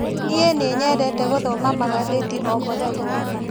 Nĩi nĩnyendete gũthoma magathĩti o mũthenya.